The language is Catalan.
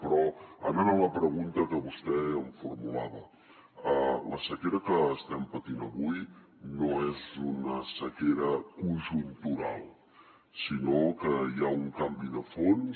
però anant a la pregunta que vostè em formulava la sequera que estem patint avui no és una sequera conjuntural sinó que hi ha un canvi de fons